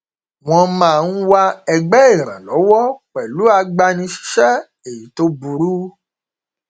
wọn máa ń máa ń wá ẹgbẹ ìrànlọwọ pẹlú agbanisíṣẹ tó burú